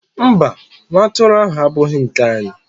mba, nwa atụrụ ahụ abụghị nke anyị.